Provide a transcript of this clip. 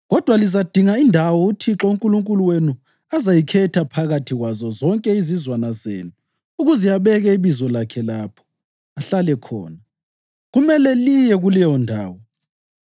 Kodwa lizadinga indawo uThixo uNkulunkulu wenu azayikhetha phakathi kwazo zonke izizwana zenu, ukuze abeke iBizo lakhe lapho, ahlale khona. Kumele liye kuleyondawo;